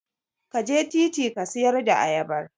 Ka je titi ka siyar da ayabar.